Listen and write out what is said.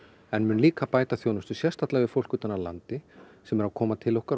en mun líka bæta þjónustu sérstaklega við fólk utan af landi sem er að koma til okkar